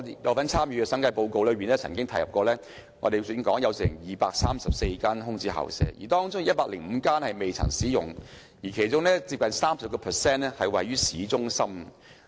我曾參與審議審計署署長報告書，當中提到本港有234間空置校舍，其中105間未曾使用，而近 30% 位於市中心。